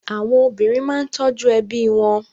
Àwọn obìnrin máa ń tọ́jú ẹbí wọn.